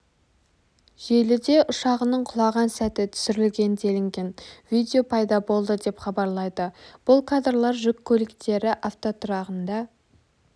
желіде ұшағының құлаған сәті түсірілген делінген видео пайда болды деп хабарлайды бұл кадрлар жүк көліктері автотұрағында